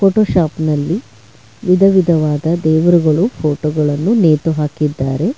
Photo shop ನಲ್ಲಿ ವಿಧವಿಧವಾದ ದೇವರುಗಳು ಫೋಟೋ ಗಳನ್ನು ನೇತು ಹಾಕಿದ್ದಾರೆ.